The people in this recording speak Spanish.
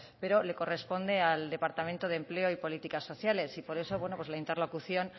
pero le corresponde al departamento de empleo y políticas sociales y por eso la interlocución